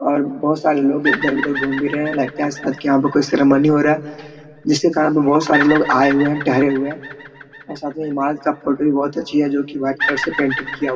और बहुत सारे लोग इधर-उधर घूम भी रहे है लगता है यहाँ कोई सेरमोनी हो रहा जिसके कारण में बहुत सारे लोग आये हुए है ठेहरे हुए है और साथ इमारत फोटो भी बहोत अच्छी है जो की वाइट कलर से पेंटिंग किया हुआ है।